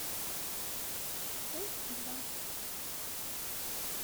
у два